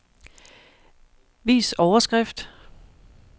Vis overskrift.